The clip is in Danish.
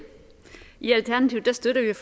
er